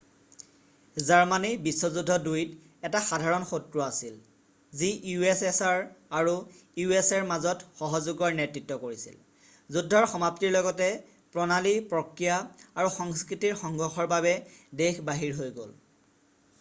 Germany বিশ্ব যুদ্ধ ২ ত এটা সাধাৰণ শত্ৰু আছিল যি ussr আৰু usaৰ মাজত সহযোগৰ নেতৃত্ব কৰিছিল । যুদ্ধৰ সমাপ্তিৰ লগীতে প্ৰণালী প্ৰক্ৰিয়া আৰু সংস্কৃতিৰ সংঘৰ্ষৰ বাবে দেশ বাহিৰ হৈ গল।